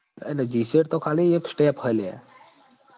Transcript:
અરે GCAT ખાલી એક step હ લ્યા